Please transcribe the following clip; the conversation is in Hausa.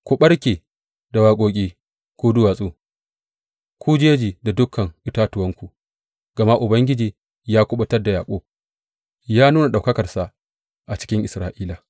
Ku ɓarke da waƙoƙi, ku duwatsu, ku jeji da dukan itatuwanku, gama Ubangiji ya kuɓutar da Yaƙub, ya nuna ɗaukakarsa a cikin Isra’ila.